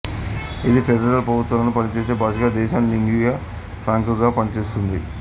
ఇది ఫెడరల్ ప్రభుత్వంలో పనిచేసే భాషగా దేశం లింగుయా ఫ్రాంకాగా పనిచేస్తుంది